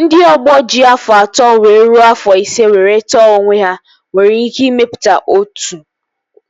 Ndị ọgbọ ji afọ atọ wee rue afọ ise were tọọ onwe ha nwere ike ịmepụta otu